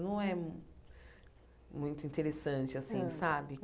Não é muito interessante, assim, sabe?